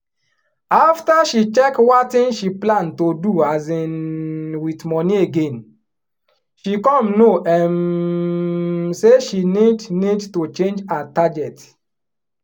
after she check watin she plan to do um with money again she come know um say she need need to change her target